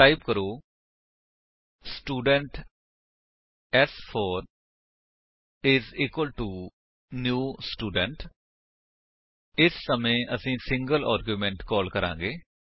ਹੁਣ ਟਾਈਪ ਕਰੋ ਸਟੂਡੈਂਟ ਸ4 ਆਈਐਸ ਇਕੁਆਲਟੋ ਨਿਊ ਸਟੂਡੈਂਟ ਇਸ ਸਮੇਂ ਅਸੀ ਇਕ ਸਿੰਗਲ ਆਰਗਿਉਮੇਂਟ ਕਾਲ ਕਰਾਂਗੇ